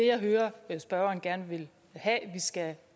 jeg hører spørgeren gerne vil have vi skal